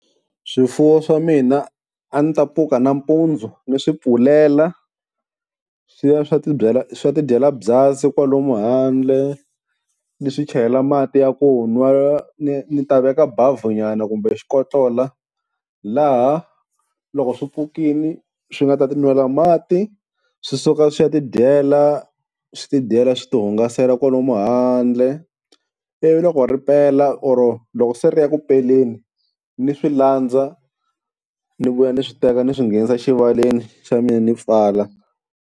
Swifuwo swa mina a ndzi ta pfuka nampundzu ni swi pfulela swi ya swa ti swa ti dyela byasi kwalomu handle, ni swi chelela mati ya ku nwa, ni ni ta veka bavhunyana kumbe xikotlola laha loko swi pfukile swi nga ta ti nwela mati swi suka swi ya tidyela swi tidyela swi tihungasela kwalomu handle. Ivi loko ripela or loko se ri ya ku peleni ni swi landza ni vuya ni swi teka ni swi nghenisa exivaleni xa mina ni pfala.